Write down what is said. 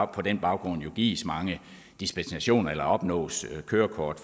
på den baggrund gives mange dispensationer eller opnås kørekort